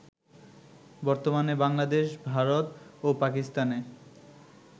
বর্তমানে বাংলাদেশ, ভারত ও পাকিস্তানে